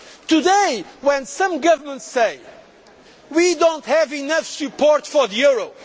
Today when some governments say we do not have enough support for the